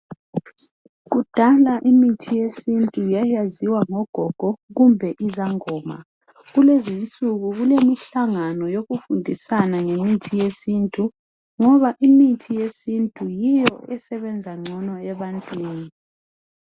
Kudala imithi yesintu yayaziwa ngogogo loba zinyanga kulezinsuku abantu sebeyithanda ngoba imithi yesintu yiyo esebenza kuhle ebantwini.